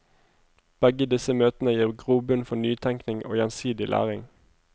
Begge disse møtene gir grobunn for nytenkning og gjensidig læring.